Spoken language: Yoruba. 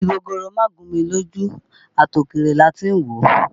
Igi gogoro má gún mi lójú, àti òkèèrè láti ń wò ó